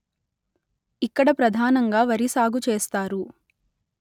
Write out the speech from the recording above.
ఇక్కడ ప్రధానంగా వరి సాగు చేస్తారు